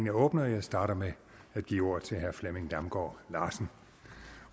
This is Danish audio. er åbnet og jeg starter med at give ordet til herre flemming damgaard larsen